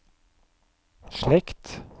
slekt